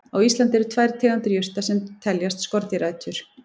Á Íslandi eru tvær tegundir jurta sem teljast skordýraætur.